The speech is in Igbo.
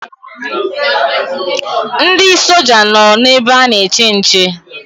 Ndị soja nọ na ebe ana-eche nche.